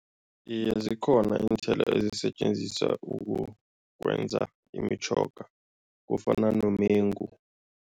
Iye, zikhona iinthelo ezisetjenziswa ukwenza imitjhoga, kufana nomengu.